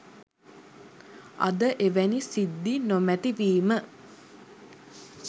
අද එවැනි සිද්ධි නොමැති වීම